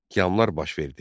Qiyamlar baş verdi.